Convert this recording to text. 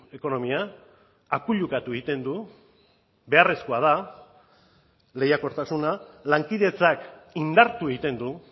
ekonomia akuilukatu egiten du beharrezkoa da lehiakortasuna lankidetzak indartu egiten du